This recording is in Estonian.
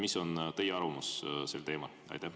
Mis on teie arvamus sel teemal?